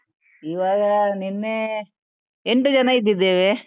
ಈವಾಗ ನಿನ್ನೆ ಎಂಟು ಜನ ಇದ್ದಿದ್ದೇವೆ.